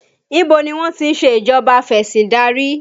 Ibo ni wọ́n ti ń ṣe ìjọba afesindari?